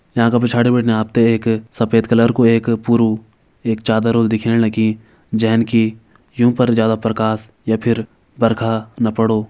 यां का पिछाडी बिटिन आप तें एक सफ़ेद कलर कु एक पुरु एक चादर होल दिखेण लगीं जेंन की युं पर ज्यादा प्रकाश या फिर बरखा न पड़ो।